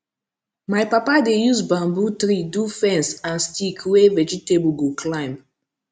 my papa dey use bamboo tree do fence and stick wey vegetable go climb